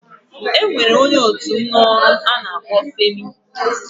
E nwere nwoke onye otu m n'ọrụ a na-akpọ Femi.